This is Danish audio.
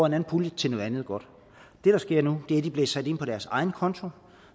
en anden pulje til noget andet godt det der sker nu er at de bliver sat ind på deres egen konto